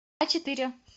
ачетыре